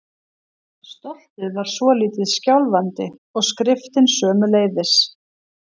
Stoltið var svolítið skjálfandi- og skriftin sömuleiðis.